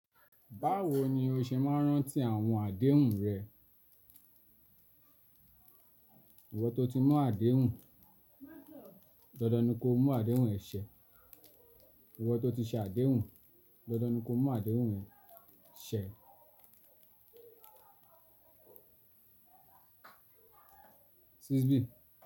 Báwo ni o ṣe máa ń rántí àwọn àdéhùn rẹ? Ìwọ tó ti mú àdéhùn, dandan ni kó mú àdéhùn ẹ ṣẹ. Ìwọ tó ti ṣe àdéhùn, dandan ni kó mú àdéhùn ẹ ṣẹ. Ṣiṣbi.